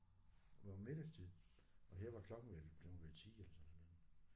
Hvor middagstid og her var klokken vel den var vel 10 eller sådan noget lignende